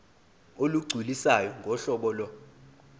olugculisayo ngohlobo lo